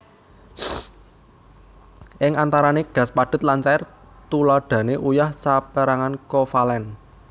Ing antarane gas padhet lan cair Tuladhane uyah saperangan kovalen